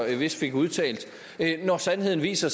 vist fik udtalt når sandheden viser